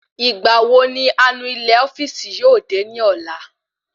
Ìgbà wo ni anu ilé ofíìsì yóò dé ni ọ̀la?